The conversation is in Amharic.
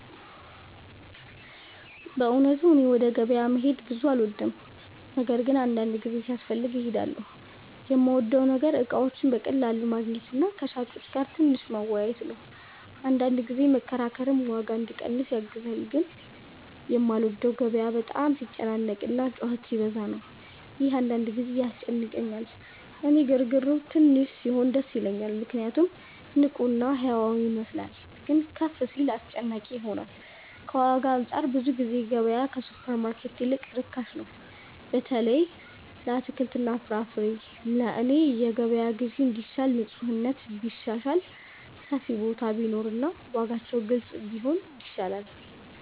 በእውነቱ እኔ ወደ ገበያ መሄድ ብዙ አልወድም፤ ነገር ግን አንዳንድ ጊዜ ሲያስፈልግ እሄዳለሁ። የምወደው ነገር እቃዎችን በቀላሉ ማግኘት እና ከሻጮች ጋር ትንሽ መወያየት ነው፤ አንዳንድ ጊዜ መከራከርም ዋጋ እንዲቀንስ ያግዛል። ግን የማልወደው ገበያው በጣም ሲጨናነቅ እና ጩኸት ሲበዛ ነው፤ ይህ አንዳንድ ጊዜ ያስጨንቀኛል። እኔ ግርግሩ ትንሽ ሲሆን ደስ ይለኛል ምክንያቱም ንቁ እና ሕያው ይመስላል፤ ግን ከፍ ሲል አስጨናቂ ይሆናል። ከዋጋ አንፃር ብዙ ጊዜ ገበያ ከሱፐርማርኬት ይልቅ ርካሽ ነው፣ በተለይ ለአትክልትና ፍራፍሬ። ለእኔ የገበያ ግዢ እንዲሻል ንፁህነት ቢሻሻል፣ ሰፊ ቦታ ቢኖር እና ዋጋዎች ግልጽ ቢሆኑ ይሻላል።